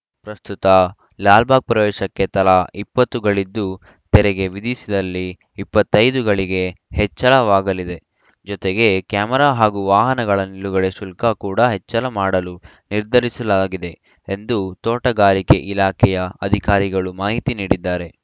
ಪ್ರಸ್ತುತ ಲಾಲ್‌ಬಾಗ್‌ ಪ್ರವೇಶಕ್ಕೆ ತಲಾ ಇಪ್ಪತ್ತು ಗಳಿದ್ದು ತೆರಿಗೆ ವಿಧಿಸಿದಲ್ಲಿ ಇಪ್ಪತ್ತ್ ಐದು ಗಳಿಗೆ ಹೆಚ್ಚಳವಾಗಲಿದೆ ಜೊತೆಗೆ ಕ್ಯಾಮೆರಾ ಹಾಗೂ ವಾಹನಗಳ ನಿಲುಗಡೆ ಶುಲ್ಕ ಕೂಡಾ ಹೆಚ್ಚಳ ಮಾಡಲು ನಿರ್ಧರಿಸಲಾಗಿದೆ ಎಂದು ತೋಟಗಾರಿಕೆ ಇಲಾಖೆಯ ಅಧಿಕಾರಿಗಳು ಮಾಹಿತಿ ನೀಡಿದ್ದಾರೆ